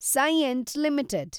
Cyient limited